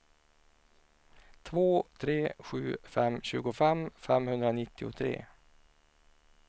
två tre sju fem tjugofem femhundranittiotre